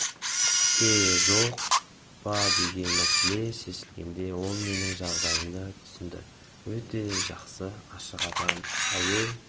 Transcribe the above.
пе жоқ па деген мәселе шешілгенде ол менің жағдайымды түсінді өте жақсы ашық адам әуе